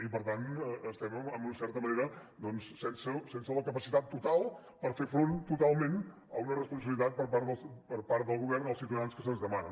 i per tant estem en una certa manera doncs sense la capacitat total per fer front totalment a una responsabilitat per part del govern als ciutadans que se’ns demana